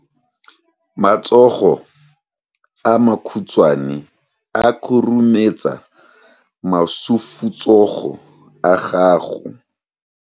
Matsogo a makhutshwane a khurumetsa masufutsogo a gago.